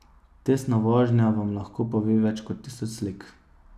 Testna vožnja vam lahko pove več kot tisoč slik.